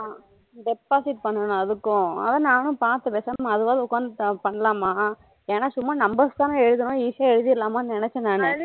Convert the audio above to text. deposit பண்ணனும் அதுக்கும் ஆனா நானும் பாத்தேன் பேசாம அதுவாது உக்காது பண்ணலாமா என்னா சும்மா numbers தானா எழுதணும் easy ஆ எழுதிறலாமா நினைசேன் நானு